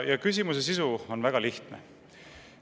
Küsimuse sisu on väga lihtne.